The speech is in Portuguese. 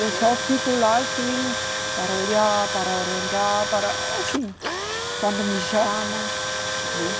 Eu só fico lá, assim, para olhar, para orientar, para assim, quando me chamam, né?